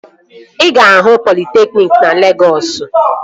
Ị ga-ahụ politekniki na Legọs